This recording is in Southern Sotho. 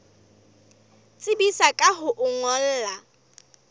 tsebisa ka ho o ngolla